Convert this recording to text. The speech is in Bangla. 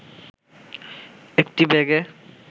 একটি ব্যাগে